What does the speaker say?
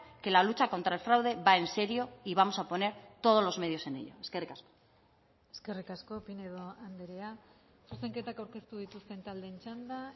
que la lucha contra el fraude va en serio y vamos a poner todos los medios en ello eskerrik asko eskerrik asko pinedo andrea zuzenketak aurkeztu dituzten taldeen txanda